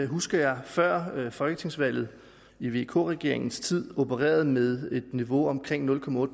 husker jeg før folketingsvalget i vk regeringens tid opererede med et niveau på omkring nul